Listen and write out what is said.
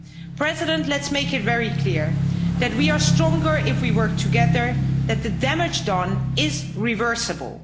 Mr President, let's make it very clear that we are stronger if we work together, that the damage done is reversible.